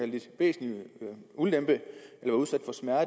lidt væsentlig ulempe